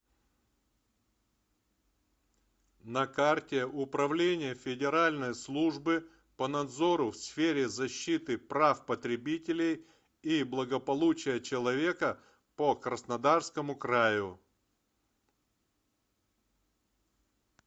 на карте управление федеральной службы по надзору в сфере защиты прав потребителей и благополучия человека по краснодарскому краю